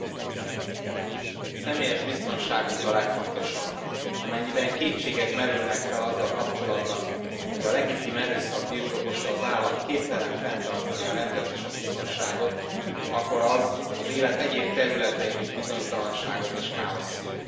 Elnök Úr! Személyes biztonságuk a legfontosabb. Amennyiben kétségek merülnek fel azzal kapcsolatban, hogy a legitim erőszak birtokosa az állam képtelen fenntartani a rendet és a biztonságot, akkor az az élet egyéb területein is bizonytalanságot és káoszt szül.